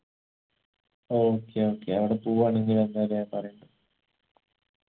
okay okay അവിടെ പോവുആണെങ്കി എന്തായാലു ഞാൻ പറയണ്ട്